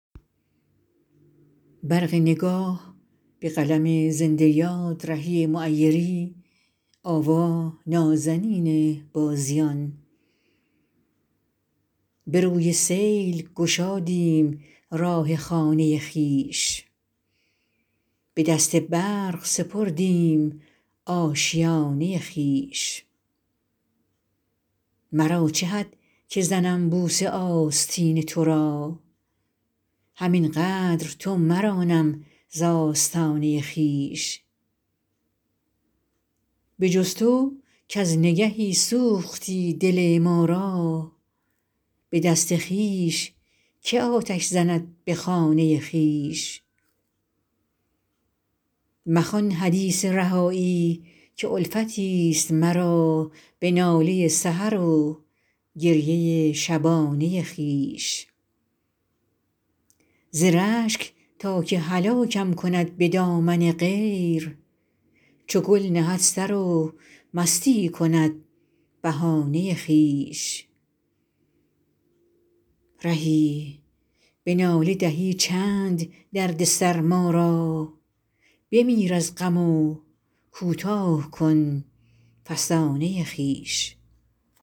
به روی سیل گشادیم راه خانه خویش به دست برق سپردیم آشیانه خویش مرا چه حد که زنم بوسه آستین ترا همین قدر تو مرانم ز آستانه خویش به جز تو کز نگهی سوختی دل ما را به دست خویش که آتش زند به خانه خویش مخوان حدیث رهایی که الفتی است مرا به ناله سحر و گریه شبانه خویش ز رشک تا که هلاکم کند به دامن غیر چو گل نهد سر و مستی کند بهانه خویش رهی به ناله دهی چند دردسر ما را بمیر از غم و کوتاه کن فسانه خویش